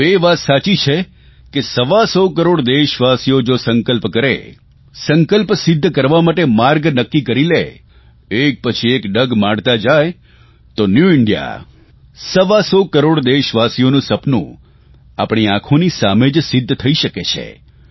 પરંતુ એ વાત સાચી છે કે સવાસો કરોડ દેશવાસીઓ જો સંકલ્પ કરે સંકલ્પને સિદ્ધ કરવા માટે માર્ગ નક્કી કરી લે એક પછી એક ડગ માંડતા જાય તો ન્યૂ ઇન્ડિયા સવાસો કરોડ દેશવાસીઓનું સપનું આપણી આંખોની સામે જ સિદ્ધ થઇ શકે છે